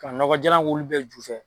Ka nɔgɔ jalan k'ulu bɛɛ ju fɛ.